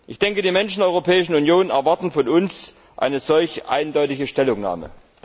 Ich denke, die Menschen der Europäischen Union erwarten von uns eine solch eindeutige Stellungnahme.